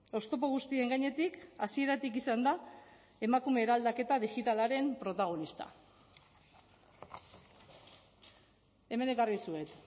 oztopo guztien gainetik hasieratik izan da emakume eraldaketa digitalaren protagonista hemen ekarri dizuet